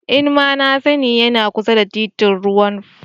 Ee nmna sani, yana kusa da titin Rwang Pam.